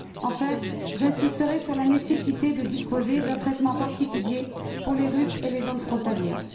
Enfin, j'insisterai sur la nécessité de disposer d'un traitement particulier pour les RUP et les zones frontalières.